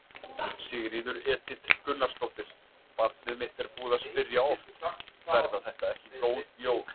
Sigríður Edith Gunnarsdóttir: Barnið mitt er búið að spyrja oft: Verða þetta ekki góð jól?